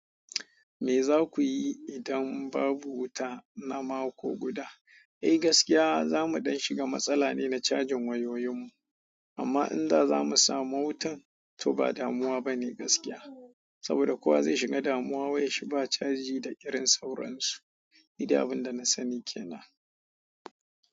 Me za ku yi idan babu wuta na mako guda? Eh gaskiya za muɗan shiga matsala ne na cajin wayoyinmu, amma in da za mu samu wutan to ba damuwa ba ne gaskiya. Saboda kowa zai shiga damuwa wayar shi ba caji da irin sauron su. Nidai abin da na sani ke nan.